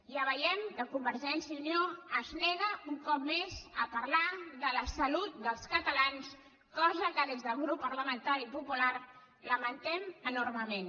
ja veiem que convergència i unió es nega un cop més a parlar de la salut dels catalans cosa que des del grup parlamentari popular lamentem enormement